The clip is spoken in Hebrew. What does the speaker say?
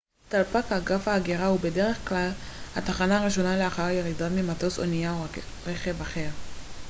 דלפק אגף ההגירה הוא בדרך כלל התחנה הראשונה לאחר ירידה ממטוס אונייה או רכב אחר